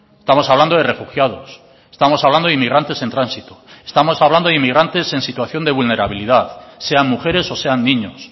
estamos hablando de refugiados estamos hablando de inmigrantes en tránsito estamos hablando de inmigrantes en situación de vulnerabilidad sean mujeres o sean niños